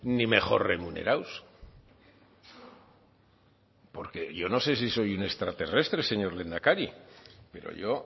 ni mejor remunerados porque yo no sé si soy un extraterrestre señor lehendakari pero yo